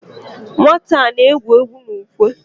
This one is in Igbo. Nwata a na-egwu egwu na ukwe?